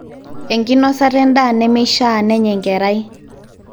enkinosata endaa nemeishaa nenya enkerai